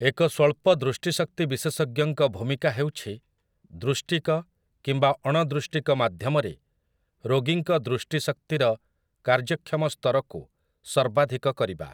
ଏକ ସ୍ୱଳ୍ପ ଦୃଷ୍ଟିଶକ୍ତି ବିଶେଷଜ୍ଞଙ୍କ ଭୂମିକା ହେଉଛି ଦୃଷ୍ଟିକ କିମ୍ବା ଅଣଦୃଷ୍ଟିକ ମାଧ୍ୟମରେ ରୋଗୀଙ୍କ ଦୃଷ୍ଟିଶକ୍ତିର କାର୍ଯ୍ୟକ୍ଷମ ସ୍ତରକୁ ସର୍ବାଧିକ କରିବା ।